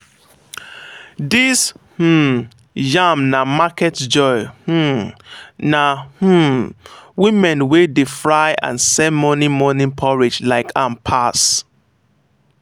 this um yam na market joy um na um women wey dey fry and sell morning morning porridge like am pass.